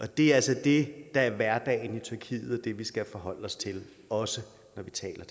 det er altså det der er hverdagen i tyrkiet og det vi skal forholde os til også når vi taler